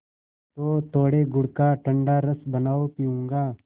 तो थोड़े गुड़ का ठंडा रस बनाओ पीऊँगा